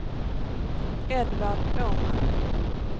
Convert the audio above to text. Edvard Åman